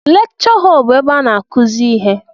Lekchọ họl bụ ebe a n'akụzi ihe.